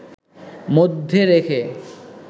মধ্যে রেখে